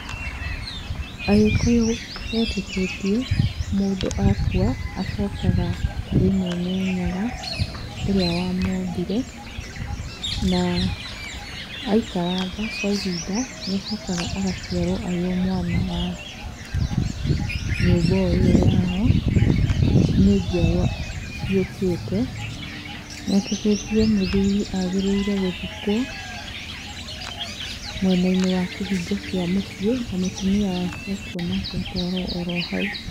Agĩkũyũ metĩkĩtie mũndũ akua acokaga kũrĩ Mwene Nyaga ũrĩa wamũmbire, na aikaranga kwa ihinda nĩacokaga agaciarwo arĩ o mwana wa nyũmba o ĩyo yao, nĩ njiarwa ciũkĩte. Metĩkĩtie mũthũri agĩrĩirwo gũthikwo mwena-inĩ wa kĩhingo kĩa mũciĩ, na mũtumia wake akua onake atwarwo oro hau.